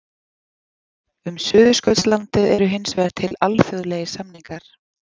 Um Suðurskautslandið eru hins vegar til alþjóðlegir samningar.